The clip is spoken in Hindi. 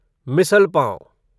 मिसल पाव